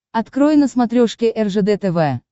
открой на смотрешке ржд тв